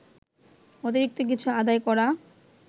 অতিরিক্ত কিছু আদায় করা